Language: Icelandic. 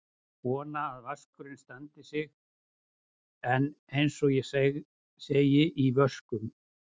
Vona að vaskurinn standi sig en eins og ég segi: í vöskum.